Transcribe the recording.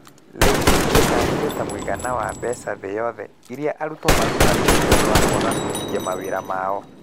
LAYS ĩtaarĩirio ta mũigana wa mbeca thĩ yothe iria arutwo marutagwo nĩ ũndũ wa kwaga kũhingia mawĩra mao .